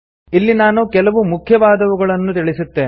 ಇಲ್ಲಿ ನಾನು ಕೆಲವು ಮುಖ್ಯವಾದವುಗಳನ್ನು ತಿಳಿಸುತ್ತೇನೆ